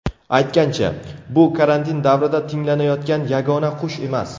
Aytgancha, bu karantin davrida tinglanayotgan yagona qush emas.